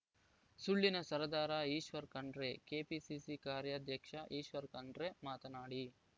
ಸುಳ್ಳಿನ ಸರದಾರ ಈಶ್ವರ್‌ ಖಂಡ್ರೆ ಕೆಪಿಸಿಸಿ ಕಾರ್ಯಾಧ್ಯಕ್ಷ ಈಶ್ವರ್‌ ಕಂಡ್ರೆ ಮಾತನಾಡಿ